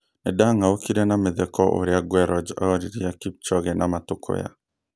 Nĩnda-ng'aũkire na mĩtheko ũrĩa Guerroj oririe Kipchoge na matũkũya